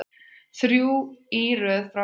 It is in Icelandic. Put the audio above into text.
Þrjú í röð frá Val.